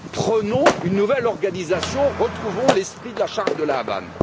Prenons une nouvelle organisation, retrouvons l'esprit de la charte de La Havane.